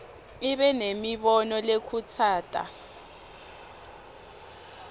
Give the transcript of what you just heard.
ibe nemibono lekhutsata